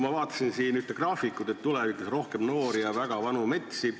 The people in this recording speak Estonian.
Ma vaatasin siin ühte graafikut, mille järgi tulevikus on rohkem noori ja väga vanu metsi.